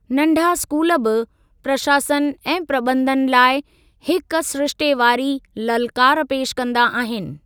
नंढा स्कूल बि प्रशासन ऐं प्रबंधन लाइ हिकु सिरिश्ते वारी ललकार पेशि कंदा आहिनि।